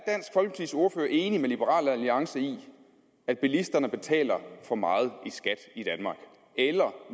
enig med liberal alliance i at bilisterne betaler for meget i skat i danmark eller